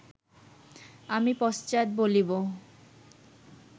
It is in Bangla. আমি পশ্চাৎ বলিব